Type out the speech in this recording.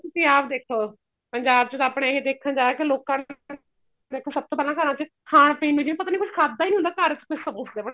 ਤੁਸੀਂ ਆਪ ਦੇਖੋ ਪੰਜਾਬ ਚ ਤਾਂ ਆਪਣੇ ਇਹ ਦੇਖਣ ਚ ਆਇਆ ਕੀ ਲੋਕਾ ਦੇਖੋ ਸਭ ਤੋਂ ਪਹਿਲਾਂ ਘਰਾਂ ਚ ਖਾਣ ਪੀਣ ਨੂੰ ਜਿਵੇਂ ਪਤਾ ਈ ਨਹੀਂ ਕੁੱਝ ਖਾਦਾ ਈ ਨੀ ਹੁੰਦਾ ਘਰ ਸਮੋਸੇ